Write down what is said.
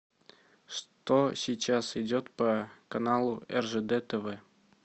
что сейчас идет по каналу ржд тв